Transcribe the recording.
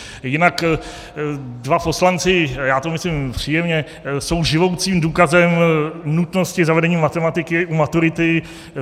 Jinak dva poslanci - já to myslím příjemně - jsou živoucím důkazem nutnosti zavedení matematiky u maturity.